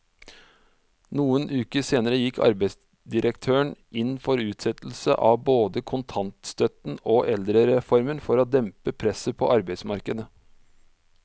Noen uker senere gikk arbeidsdirektøren inn for utsettelse av både kontantstøtten og eldrereformen for å dempe presset på arbeidsmarkedet.